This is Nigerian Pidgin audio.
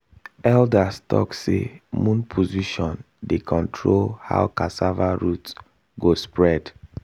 elders talk say moon position dey control how cassava root go spread